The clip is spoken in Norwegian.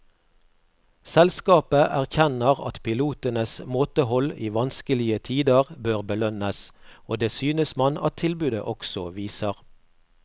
Selskapet erkjenner at pilotenes måtehold i vanskelige tider bør belønnes, og det synes man at tilbudet også viser.